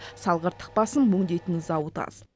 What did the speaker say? салғырттық басым өңдейтін зауыт аз